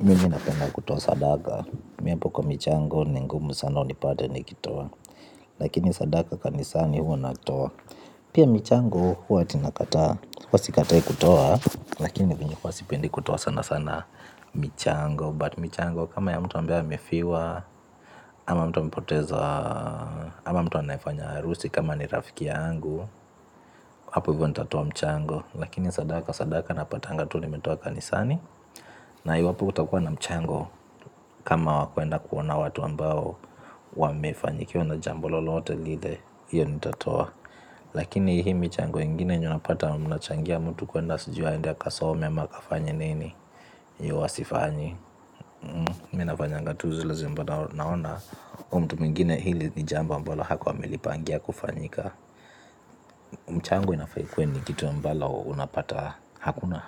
Mimi napenda kutoa sadaka. Mimi hapo kwa michango ni ngumu sana unipate nikitoa. Lakini sadaka kanisani huwa natoa. Pia michango huwa tinakata. Huwa si katai kutoa. Lakini venye hua sipendi kutoa sana sana michango But michango kama ya mtu ambae amefiwa. Ama mtu amepoteza. Ama mtu anaefanya harusi kama ni rafiki yangu. Hapo hivyo nitatoa mchango. Lakini sadaka sadaka napataga tu nimetoa kanisani. Na hiyo hapo utakua na mchango. Kama wakwenda kuona watu ambao wamefanyikiwa na jambo lolote lile. Hiyo nitatoa. Lakini hii michango ingine nyonapata. Mnachangia mtu kwenda suji aendea akasome ama akafanye nini hio huwa sifanyi. Mimi nafanyanga tu zile ambazo naona mtu mwingine hili ni jambo ambalo hakuwa amelipangia kufanyika mchango inafaa ikuwe ni kitu ambalo unapata. Hakuna